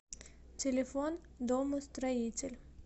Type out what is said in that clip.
телефон домостроитель